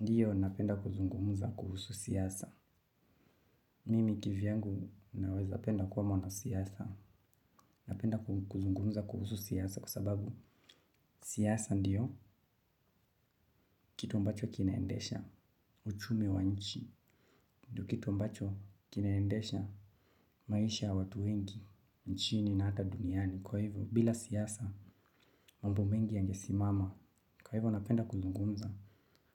Ndiyo napenda kuzungumuza kuhusu siyasa. Mimi kivyangu naweza penda kuwa mwana siasa. Napenda kuzungumuza kuhusu siasa kusababu siasa ndiyo kitu ambacho kinaendesha uchumi wa nchi. Ndiyo kitu ambacho kinaendesha maisha ya watu wengi, nchini na hata duniani. Kwa hivyo, bila siasa, mambo mengi yange simama. Kwa hivyo, napenda kuzungumuza